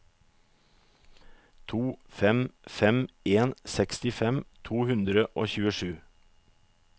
to fem fem en sekstifem to hundre og tjuesju